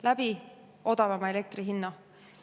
Läbi odavama elektri hinna.